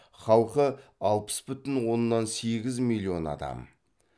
халқы алпыс бүтін оннан сегіз миллион адам